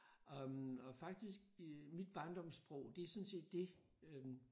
Og og faktisk mit barndomssprog det er sådan set det øh